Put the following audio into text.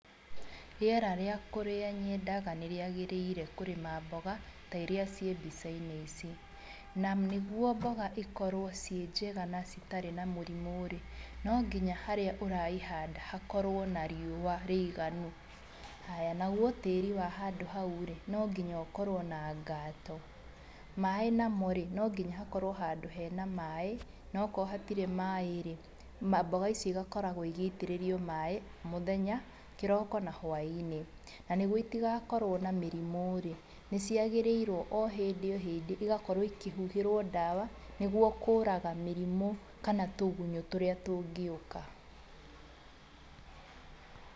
Rĩera rĩa kũrĩa nyedaga nĩriagĩrĩire kũrĩma mboga ta iria ciĩ mbica-inĩ ici na nĩgwo mboga ikorwo ci-njega na citarĩ na mũrimũ-rĩ, no nginya harĩa ũraihada hakorwo na riũa rĩiganu, haya nagũo tĩĩri wa handũ hau-rĩ, no nginya ũkorwo na ngatũ, maaĩ namo-rĩ, no nginya hakorwo handũ hena maaĩ, nakorwo hatirĩ maaĩ-ri, mboga icio igakoragwo igĩitĩrĩrio maaĩ mũthenya, kĩroko na hwainĩ, nanĩgwo itigakorwo na mĩrimũ-rĩ, nĩciagĩrĩirwo o-hĩndĩ o-hĩndĩ ĩgakorwo ikĩhuhĩrwo dawa nĩguo kũũraga mĩrimũ kana tũgunyo tũrĩa tũngĩuka.